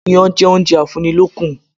Iyán jẹ́ oúnjẹ a fún ni lókun